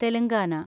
Telangana